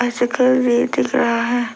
शक्ल भी दिख रहा है।